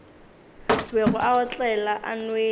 bego a otlela a nwele